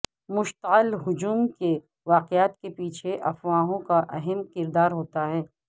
مشتعل ہجوم کے واقعات کے پیچھے افواہوں کا اہم کردار ہوتا ہے